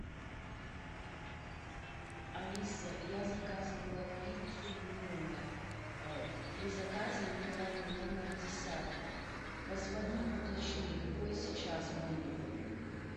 алиса я заказывала пиццу в номер при заказе мне дали номер десятый позвони уточни какой сейчас мой номер